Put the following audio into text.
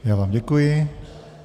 Já vám děkuji.